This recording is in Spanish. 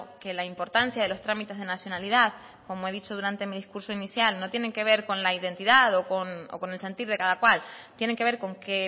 que la importancia de los trámites de nacionalidad como he dicho durante mi discurso inicial no tienen que ver con la identidad o con el sentir de cada cual tienen que ver con que